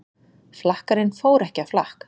Flakkarinn fór ekki á flakk